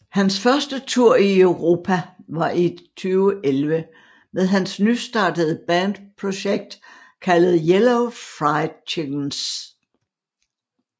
Hans første tour i Europa var i 2011 med hans nystartede band projekt kaldet Yellow Fried Chickenz